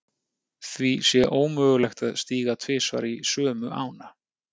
Því sé ómögulegt að stíga tvisvar í sömu ána.